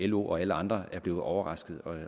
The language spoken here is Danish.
lo og alle andre er blevet overraskede